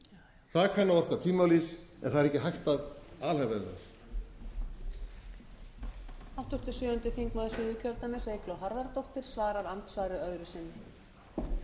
þjóðina það kann að orka tvímælis en það er ekki hægt að alhæfa um það